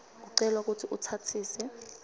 ucelwa kutsi utsatsise